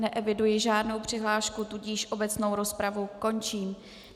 Neeviduji žádnou přihlášku, tudíž obecnou rozpravu končím.